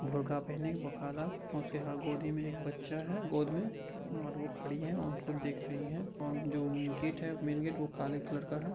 बुरखा पहनी काला उसके हा गोदी मे एक बच्चा है गोद मे और वो खड़ी है और वो देख रही है और जो गेट है मैन गेट वो काले कलर का है ।